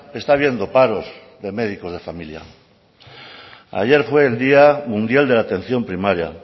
está habiendo paros de médicos de familia ayer fue el día mundial de la atención primaria